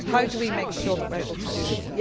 How do we make sure that we are able to do this?